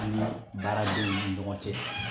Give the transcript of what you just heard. I ni baara denw ni ɲɔgɔn cɛ.